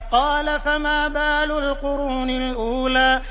قَالَ فَمَا بَالُ الْقُرُونِ الْأُولَىٰ